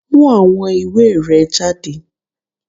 Mú àwọn ìwé rẹ jáde!